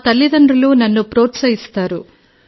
మా తల్లిదండ్రులు నన్ను ప్రోత్సహిస్తారు